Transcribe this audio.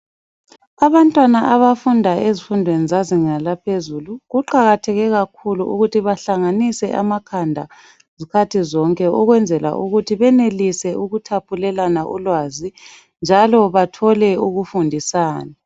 Abantwana abafunda ezifundweni zezinga laphezulu, kuqakatheke kakhulu ukuthi bahlanganise amakhanda izikhathi zonke, ukwenzela ukuthi benelise ukuthaphulelana ulwazi, izikhathi zonke, njalo bathole ukufundisana.